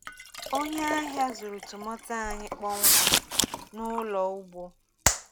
Onye ahịa zụrụ tomato anyị kpọmkwem n’ụlọ ugbo.